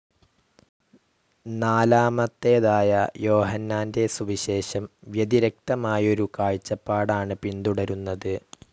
നാലാമത്തേതായ യോഹന്നാന്റെ സുവിശേഷം വ്യതിരിക്തമായൊരു കാഴ്ചപ്പാടാണ് പിന്തുടരുന്നത്.